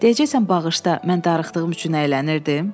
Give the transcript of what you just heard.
Deyəcəksən bağışla, mən darıxdığım üçün əylənirdim?